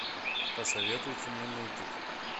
посоветуйте мне мультик